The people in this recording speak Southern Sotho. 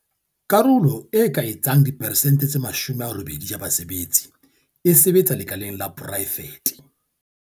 Karolo e ka etsang diperesente tse 80 ya basebetsi e sebetsa lekaleng la poraefete.